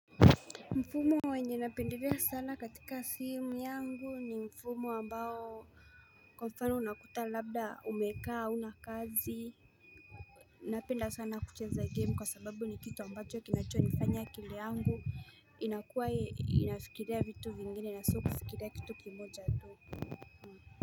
Mfumo wenye napendelea sana katika simu yangu ni mfumo ambao kwa mfano unakuta labda umekaa hauna kazi Napenda sana kucheza game kwa sababu ni kitu ambacho kinachonifanya akili yangu inakuwa inafikiria vitu vingine na sio kufikiria kitu kimoja tu.